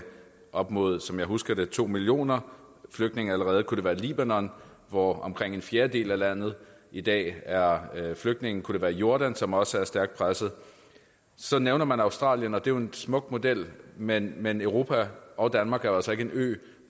op mod som jeg husker det to millioner flygtninge allerede kunne det være libanon hvor omkring en fjerdedel af landet i dag er flygtninge kunne det være i jordan som også er stærkt presset så nævner man australien og det er jo en smuk model men men europa og danmark er jo altså ikke en ø